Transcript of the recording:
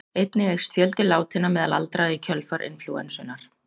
Einnig eykst fjöldi látinna meðal aldraðra í kjölfar inflúensunnar.